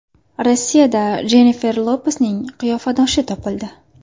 Rossiyada Jennifer Lopesning qiyofadoshi topildi .